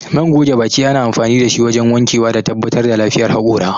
Man goge baki ana amfani dashi wajen wankewa da tabbatar da lafiyar haƙora